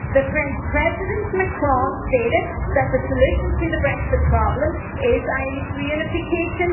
French President Macron stated that the solution to the Brexit problem is Irish reunification.